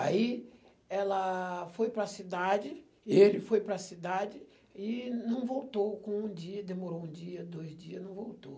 Aí ela foi para a cidade e ele foi para a cidade e não voltou com um dia, demorou um dia, dois dia, não voltou.